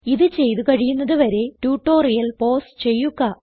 ഇത് ചെയ്ത് കഴിയുന്നത് വരെ ട്യൂട്ടോറിയൽ പോസ് ചെയ്യുക